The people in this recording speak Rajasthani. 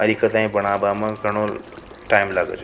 में टाइम लगा छ।